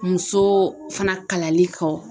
Muso fana kalali kɔ